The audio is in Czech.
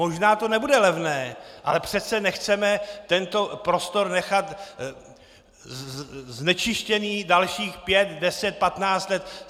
Možná to nebude levné, ale přece nechceme tento prostor nechat znečištěný dalších pět, deset, patnáct let.